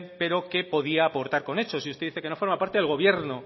pero que podía aportar con hechos y usted dice que no forma parte del gobierno